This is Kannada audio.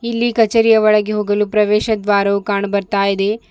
ಇಲ್ಲಿ ಕಚೇರಿಯ ಒಳಗೆ ಹೋಗಲು ಪ್ರವೇಶ ದ್ವಾರವು ಕಾಣು ಬರ್ತಾ ಇದೆ.